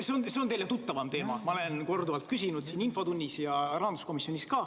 See on teile tuttavam teema, ma olen seda korduvalt küsinud nii infotunnis kui ka rahanduskomisjonis.